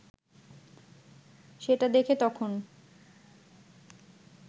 সেটা দেখে তখন